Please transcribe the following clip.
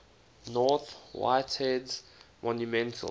north whitehead's monumental